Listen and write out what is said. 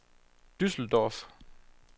Düsseldorf